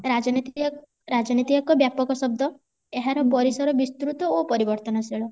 ରାଜନୀତି ରାଜନୀତି ଏକ ବ୍ୟାପକ ଶବ୍ଦ ଏହାର ପରିସର ବିସ୍ତୃତ ଓ ପରିବର୍ତନଶିଳ